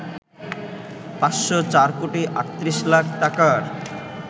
৫০৪ কোটি ৩৮ লাখ টাকার